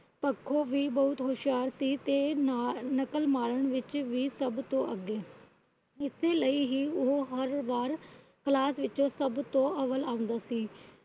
ਪੱਖੋਂ ਵੀ ਬਹੁਤ ਹੋਸ਼ਿਆਰ ਸੀ ਤੇ ਨਾਲੇ ਨਕਲ ਮਾਰਨ ਵਿੱਚ ਸਭ ਤੋਂ ਅੱਗੇ। ਇਸੇ ਲਈ ਹੀ ਹਰ ਵਾਰ Class ਵਿੱਚ ਸਭ ਤੋਂ ਅਵੱਲ ਆਉਂਦਾ ਸੀ।